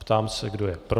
Ptám se, kdo je pro?